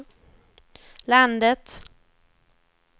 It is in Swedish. landet